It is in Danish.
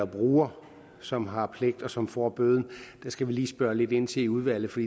bruger som har pligten og som får bøden det skal vi lige spørge lidt ind til i udvalget for